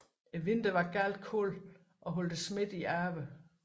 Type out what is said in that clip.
Vinteren var meget kold og holdt smitten i ave